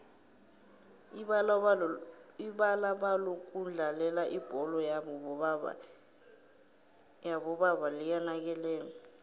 ibalalokudlalela ibholo yobo baba liyanakekelwa